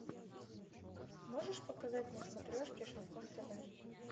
можешь показать на смотрешке шансон тв